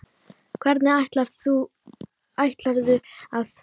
Hvernig ætlarðu að.?